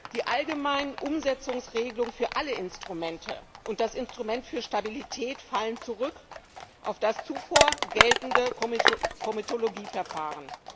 Die allgemeinen Umsetzungsregelungen für alle Instrumente und das Instrument für Stabilität fallen zurück auf das zuvor geltende Komitologieverfahren.